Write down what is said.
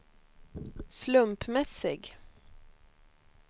slumpmässig